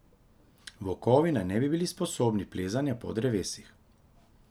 Volkovi naj ne bi bili sposobni plezanja po drevesih.